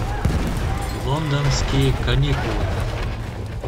лондонские каникулы